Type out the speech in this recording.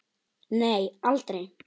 Nei aldrei.